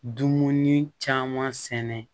Dumuni caman sɛnɛ